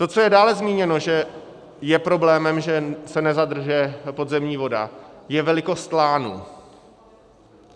To, co je dále zmíněno, že je problémem, že se nezadržuje podzemní voda, je velikost lánů.